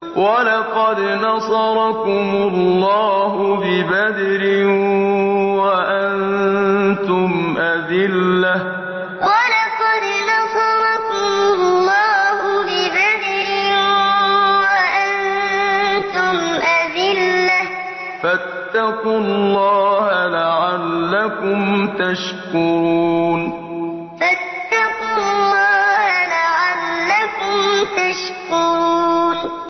وَلَقَدْ نَصَرَكُمُ اللَّهُ بِبَدْرٍ وَأَنتُمْ أَذِلَّةٌ ۖ فَاتَّقُوا اللَّهَ لَعَلَّكُمْ تَشْكُرُونَ وَلَقَدْ نَصَرَكُمُ اللَّهُ بِبَدْرٍ وَأَنتُمْ أَذِلَّةٌ ۖ فَاتَّقُوا اللَّهَ لَعَلَّكُمْ تَشْكُرُونَ